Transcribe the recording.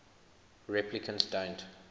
replicants don't